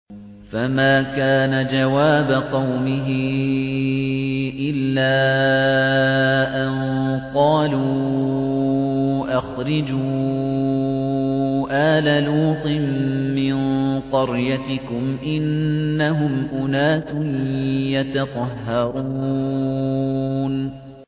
۞ فَمَا كَانَ جَوَابَ قَوْمِهِ إِلَّا أَن قَالُوا أَخْرِجُوا آلَ لُوطٍ مِّن قَرْيَتِكُمْ ۖ إِنَّهُمْ أُنَاسٌ يَتَطَهَّرُونَ